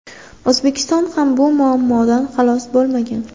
O‘zbekiston ham bu muammodan xalos bo‘lmagan.